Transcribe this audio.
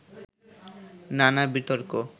নানা বিতর্ক